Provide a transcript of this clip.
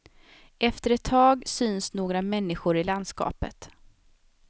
Efter ett tag syns några människor i landskapet.